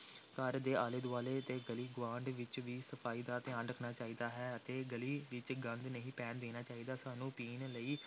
ਘਰ ਦੇ ਆਲੇ ਦੁਆਲੇ ਤੇ ਗਲੀ ਗੁਆਂਢ ਵਿਚ ਵੀ ਸਫ਼ਾਈ ਦਾ ਧਿਆਨ ਰੱਖਣਾ ਚਾਹੀਦਾ ਹੈ ਅਤੇ ਗਲੀ ਵਿਚ ਗੰਦ ਨਹੀਂ ਪੈਣ ਦੇਣਾ ਚਾਹੀਦਾ, ਸਾਨੂੰ ਪੀਣ ਲਈ